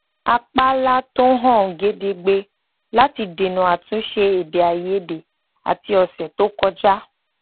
a pààlà tó hàn gedegbe láti dènà àtúnṣe èdèàìyedè àti ọsẹ tó kọjá